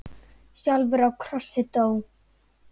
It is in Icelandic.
sjálfur á krossi dó.